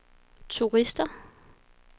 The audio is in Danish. turister